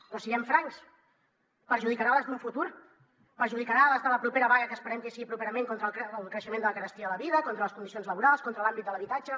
però siguem francs perjudicarà les d’un futur perjudicarà les de la propera vaga que esperem que sigui properament contra el creixement de la carestia de la vida contra les condicions laborals contra l’àmbit de l’habitatge